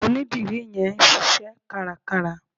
Onídìrí yẹn ń ṣíṣẹ́ kárakára.